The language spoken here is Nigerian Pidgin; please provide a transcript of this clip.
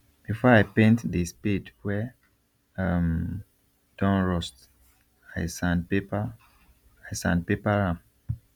before i paint the spade wey um don rust i sandpaper i sandpaper am